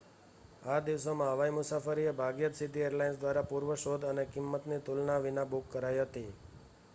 આ દિવસોમાં હવાઈ મુસાફરી એ ભાગ્યે જ સીધી એરલાઇન્સ દ્વારા પૂર્વ શોધ અને કિંમતની તુલના વિના બુક કરાઈ હતી